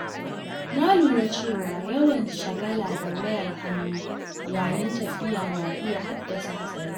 Na lura cewa yawan shagala da wayar hannu yayin tafiya na iya haddasa hatsari.